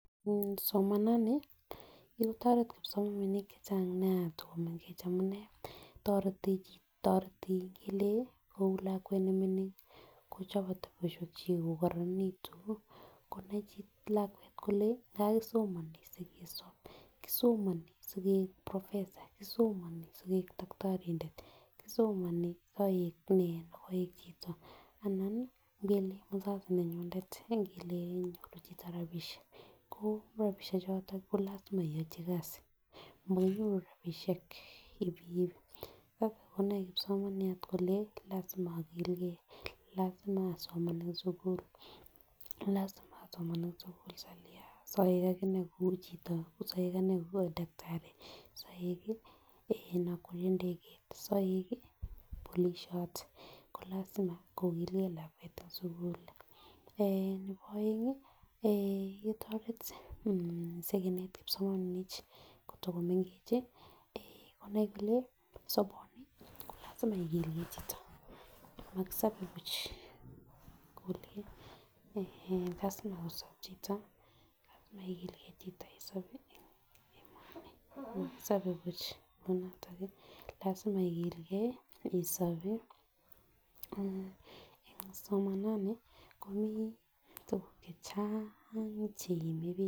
Mmh somanani kikotoret kipsomaninik chechang Nia kotokomengech amunee, toreti toreti ngelekou lakwet memening kochobe boishonik Chechik ko koronekitun konai lakwet kole kakisomoni sikesob, kisomoni sikeik professor kisomoni sikeik tokitorindet, kisomoni soik nee oik chito anan nii ngele nabas nenyunet ngelel kenyoru chito rabishek ko moi rabishek choton komoi iyochi kasit mokonyoru rabishek hivi hivi nda kakonai kipsomaniat kole lasima okilgee lasima oasiman en sukul lasima bl asoman en sukul salia soik akanee kou chito soik dactari soik eh okwerie ndekeit soik kii polisiot ko lasima kogilgee lakwet en sukul. Eeh nebo oengi ketoret sikinet kipssomaninik kotokomengechi eh konai kole sobini kolasima okilgee chito, mokosobe buch kole lasima kosob chito lasima igilgee chito en sobet en emeoni mokosobe buch kou noton nii lasima igilgee isobii ana en somanani komii tukuk chechang cheime bik.